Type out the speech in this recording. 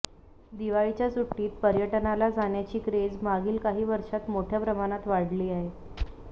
दिवाळीच्या सुट्टीत पर्यटनाला जाण्याची क्रेझ मागील काही वर्षात मोठ्या प्रमाणात वाढली आहे